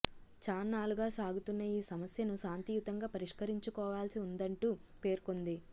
చాన్నాళ్లుగా సాగుతున్న ఈ సమస్యను శాంతియుతంగా పరిష్కరించుకోవాల్సి ఉందంటూ పేర్కొంది